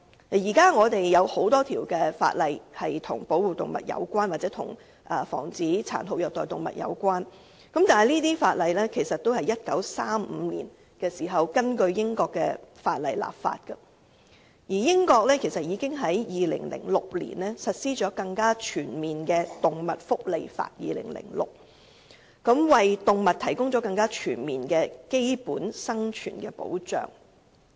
現時，有很多法例均與保護動物或防止殘酷虐待動物有關，但這些法例都是在1935年時根據英國的法例制定的，而英國在2006年已實施更全面的《2006年動物福利法》，為動物提供更全面的基本生存保障。